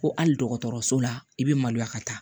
Ko hali dɔgɔtɔrɔso la i bɛ maloya ka taa